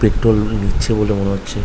Petrol নিচ্ছে বলে মনে হচ্ছে ।